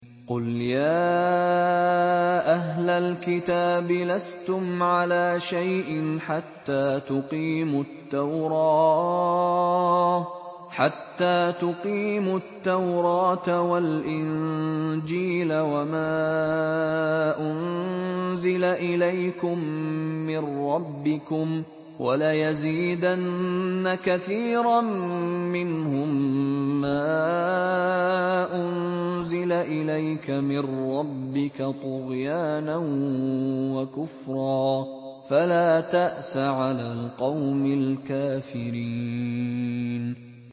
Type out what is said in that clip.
قُلْ يَا أَهْلَ الْكِتَابِ لَسْتُمْ عَلَىٰ شَيْءٍ حَتَّىٰ تُقِيمُوا التَّوْرَاةَ وَالْإِنجِيلَ وَمَا أُنزِلَ إِلَيْكُم مِّن رَّبِّكُمْ ۗ وَلَيَزِيدَنَّ كَثِيرًا مِّنْهُم مَّا أُنزِلَ إِلَيْكَ مِن رَّبِّكَ طُغْيَانًا وَكُفْرًا ۖ فَلَا تَأْسَ عَلَى الْقَوْمِ الْكَافِرِينَ